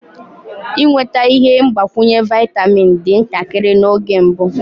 Ịnweta ihe mgbakwunye vaịtamin dị ntakịrị n'oge mbụ.